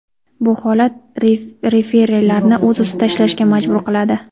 Bu holat referilarni o‘z ustida ishlashga majbur qiladi.